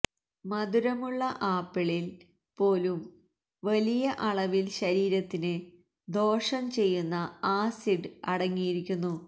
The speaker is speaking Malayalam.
മധുരമുള്ള ആപ്പിളിൽ പോലും വലിയ അളവിൽ ശരീരത്തിന് ദോഷം ചെയ്യുന്ന ആസിഡ് അടങ്ങിയിരിക്കുന്നു